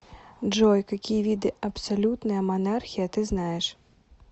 джой какие виды абсолютная монархия ты знаешь